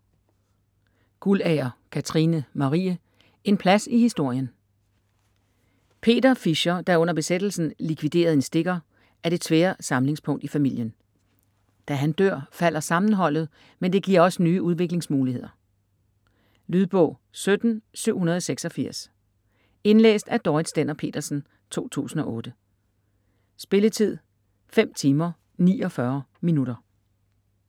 Guldager, Katrine Marie: En plads i historien Peter Fischer, der under besættelsen likviderede en stikker, er det tvære samlingspunkt i familien. Da han dør falder sammenholdet, men det giver også nye udviklingsmuligheder. Lydbog 17786 Indlæst af Dorrit Stender-Petersen, 2008. Spilletid: 5 timer, 49 minutter.